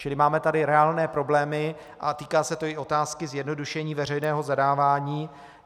Čili máme tady reálné problémy a týká se to i otázky zjednodušení veřejného zadávání.